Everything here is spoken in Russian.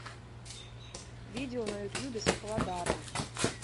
видео на ютюбе с фладаром